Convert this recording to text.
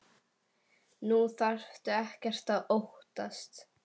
Nú þarftu ekkert að óttast.